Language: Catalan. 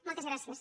moltes gràcies